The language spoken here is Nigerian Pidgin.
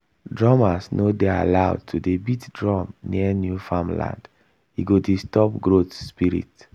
drummers no dey allowed to dey beat drum near new farmland e go disturb growth spirit